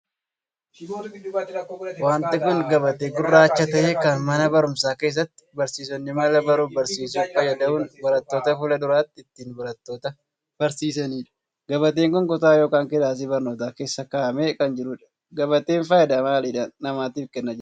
Wanti kun gabatee gurraacha tahee kan mana barumsaa keessatti barsiisonni mala baruuf barsiisuu fayyadamuun barattoota fuula duratti ittiin barattoota barsiisaniidha. gabateen kun kutaa ykn kilaasii barnootaa keessa kaa'amee kan jiruudha. Gabateen faayidaa maalii dhala namaatiif Kenna jettee yaadda?